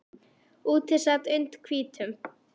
Úti sat und hvítum